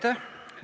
Tänan!